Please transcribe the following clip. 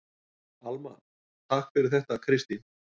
Alma: Takk fyrir þetta Kristín.